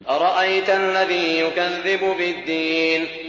أَرَأَيْتَ الَّذِي يُكَذِّبُ بِالدِّينِ